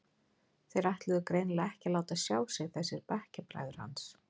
Þeir ætluðu greinilega ekki að láta sjá sig þessir bekkjarbræður hans.